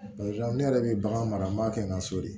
ne yɛrɛ bɛ bagan mara n b'a kɛ n ka so de